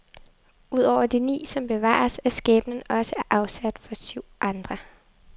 Ud over de ni, som bevares, er skæbnen også afsagt for syv andre.